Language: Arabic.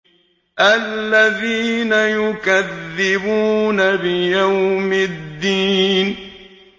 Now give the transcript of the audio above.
الَّذِينَ يُكَذِّبُونَ بِيَوْمِ الدِّينِ